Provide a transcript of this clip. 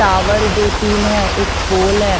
Tower दो तीन हैं एक पोल है।